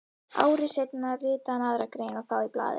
Ári seinna ritaði hann aðra grein og þá í blaðið